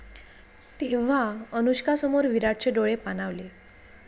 ...तेव्हा अनुष्कासमोर विराटचे डोळे पाणावले